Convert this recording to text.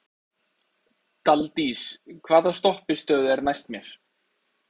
Daldís, hvaða stoppistöð er næst mér?